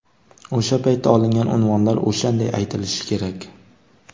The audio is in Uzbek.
O‘sha paytda olingan unvonlar o‘shanday aytilishi kerak.